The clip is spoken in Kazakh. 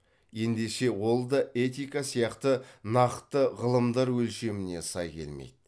ендеше ол да этика сияқты нақты ғылымдар өлшеміне сай келмейді